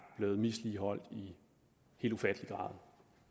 blevet misligholdt i helt ufattelig grad